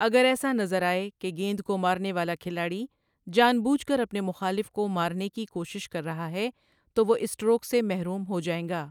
اگر ایسا نظر آئے کہ گیند کو مارنے والا کھلاڑی جان بوجھ کر اپنے مخالف کو مارنے کی کوشش کر رہا ہے تو وہ اسٹروک سے محروم ہو جائیں گا۔